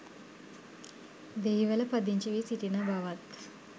දෙහිවල පදිංචි වී සිටින බවත්